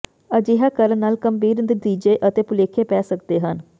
ਅਜਿਹਾ ਕਰਨ ਨਾਲ ਗੰਭੀਰ ਨਤੀਜੇ ਅਤੇ ਭੁਲੇਖੇ ਪੈ ਸਕਦੇ ਹਨ